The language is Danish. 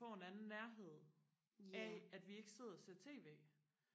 får en anden nærhed af at vi ikke sidder og ser tv